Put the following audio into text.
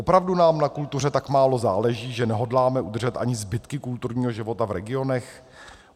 Opravdu nám na kultuře tak málo záleží, že nehodláme udržet ani zbytky kulturního života v regionech?